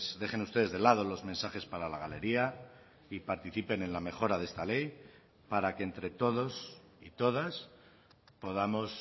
dejen ustedes de lado los mensajes para la galería y participen en la mejora de esta ley para que entre todos y todas podamos